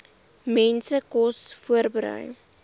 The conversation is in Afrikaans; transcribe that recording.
mense kos voorberei